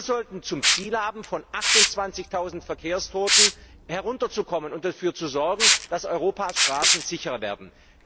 Wir sollten zum Ziel haben, von der Zahl von 28000 Verkehrstoten herunterzukommen und dafür zu sorgen, dass Europas Straßen sicherer werden.